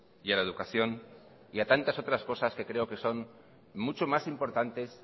y a la educación y a tantas otras cosas que creo que son mucho más importantes